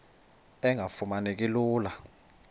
engafuma neki lula